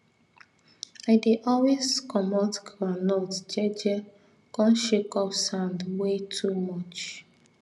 i dey always comot groundnut je je come shake off sand wey too much